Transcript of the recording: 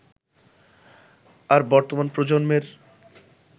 আর বর্তমান প্রজন্মের